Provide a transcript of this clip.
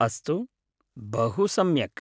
अस्तु, बहु सम्यक्।